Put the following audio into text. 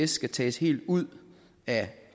skal tages helt ud af